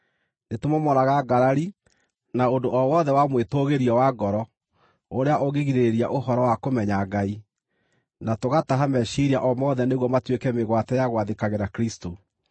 Nĩtũmomoraga ngarari, na ũndũ o wothe wa mwĩtũũgĩrio wa ngoro ũrĩa ũngĩgirĩrĩria ũhoro wa kũmenya Ngai, na tũgataha meciiria o mothe nĩguo matuĩke mĩgwate ya gwathĩkagĩra Kristũ.